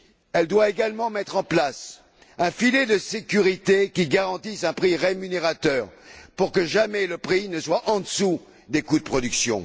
Elle doit également mettre en place un filet de sécurité qui garantisse un prix rémunérateur pour que, jamais, le prix ne soit en dessous des coûts de production.